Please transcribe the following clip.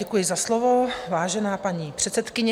Děkuji za slovo, vážená paní předsedkyně.